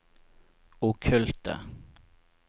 okkulte